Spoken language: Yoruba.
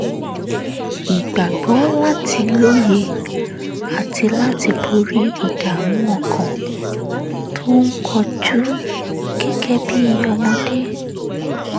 ìgbàgbọ́ láti lóye àti láti borí ìdààmú ọkàn tó ń kojú gẹ́gẹ́ bí ọmọdé